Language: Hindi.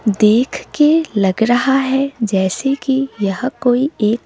देख के लग रहा है जैसे कि यह कोई एक--